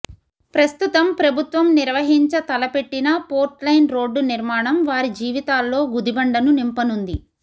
ప్రస్తుతం ప్రభుత్వం నిర్వహించ తల పెట్టిన పోర్లైన్ రోడ్డు నిర్మాణం వారి జీవితాల్లో గుదిబండను నింపనుంది